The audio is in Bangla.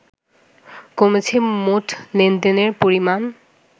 কমেছে মোট লেনদেনের পরিমাণ